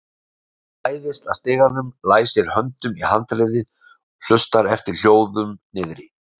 Hann læðist að stiganum, læsir höndunum í handriðið, hlustar eftir hljóðum niðri.